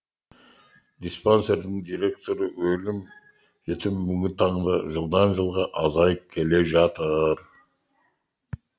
диспансердің директоры өлім жітім бүгінгі таңда жылдан жылға азайып келе жатыр